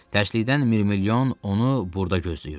Tərslikdən Mirmilyon onu burda gözləyirdi.